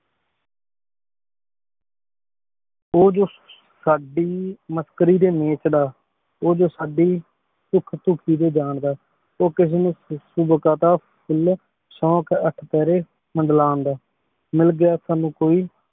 ਤੂ ਜੋ ਸਾਡੀ ਮਸਕਰੀ ਦੇ ਨੀਤ ਦਾ ਤੂ ਜੋ ਸਾਡੀ ਪੁਖ਼ ਦੁਖ ਜਾਂਦਾ ਊ ਕਿਸੀ ਨੂ ਸ਼ੋੰਕ਼ ਅਠ ਪੇਹ੍ਰੀ ਮੰਡਲਾਂ ਦਾ ਮਿਲ ਗਯਾ ਸਾਨੂ ਕੋਈ